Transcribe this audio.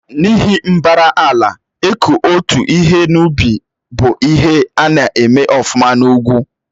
N'ihi mbara ala, iku otu ihe n'ubị́ bụ ihe na-eme ọfuma n'ugwu